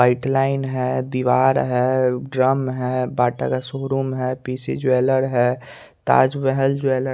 white line है दीवार है ड्रम है बाटा का शोरूम है पी_सी जेवेलर है ताजमहल जेवेलर --